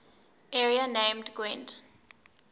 area named gwent